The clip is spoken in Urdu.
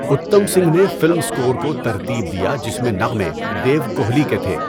اتم سنگھ نے فلم اسکور کو ترتیب دیا جس میں نغمے دیو کوہلی کے تھے۔